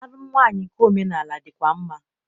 Alụm nwaanyị nke omenaala dịkwa mma.